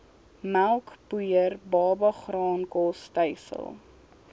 melkpoeier babagraankos stysel